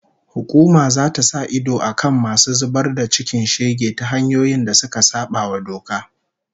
Hukuma zata sa idon akan masu zubar da cikin shege ta hanyoyin da suka sabawa doka